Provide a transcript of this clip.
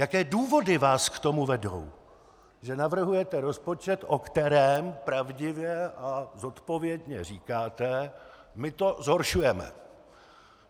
Jaké důvody vás k tomu vedou, že navrhujete rozpočet, o kterém pravdivě a zodpovědně říkáte: my to zhoršujeme.